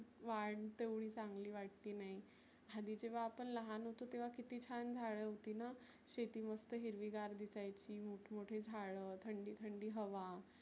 वाढ तेव्हडी चांगली वाटती नाही. आधी जेव्हा आपण लहान होतो तेव्हा किती छान झाडं होतीना. शेती मस्त हिरवीगार दिसायची मोठमोठे झाडं, थंडी थंडी हवा